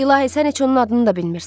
İlahi, sən heç onun adını da bilmirsən.